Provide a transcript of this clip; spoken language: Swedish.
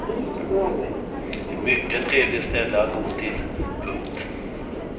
Ett mycket trevligt ställe att gå till. punkt